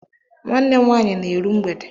Nwanne m nwaanyị na-eru mgbede.